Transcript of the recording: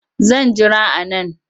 Zan jira a nan